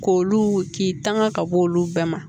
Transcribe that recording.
K'olu k'i tanga ka bɔ olu bɛɛ ma